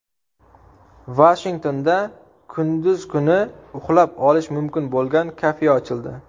Vashingtonda kunduz kuni uxlab olish mumkin bo‘lgan kafe ochildi.